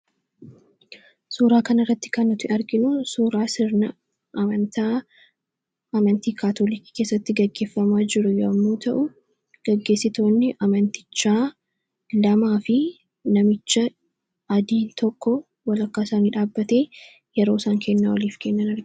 Suuraa kanarratti kan arginu suuraa sirna amantaa Kaatoolikii keessatti gaggeeffamaa jiru yommuu ta'u, gaggeessitoonni amantichaa namaa fi mamichi adiin tokko walakkaa isaanii dhaabbatee yeroo isaan kennaa walii kennan argina.